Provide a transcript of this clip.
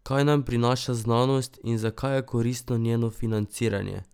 Kaj nam prinaša znanost in zakaj je koristno njeno financiranje?